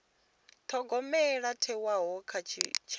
thogomelo yo thewaho kha tshitshavha